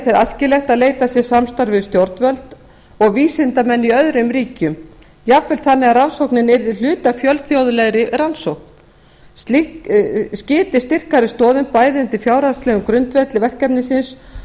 þeir æskilegt að leitað sé samstarfs við stjórnvöld og vísindamenn í öðrum ríkjum jafnvel þannig að rannsóknin yrði hluti af fjölþjóðlegri rannsókn slíkt skyti styrkari stoðum bæði undir fjárhagslegan grundvöll verkefnisins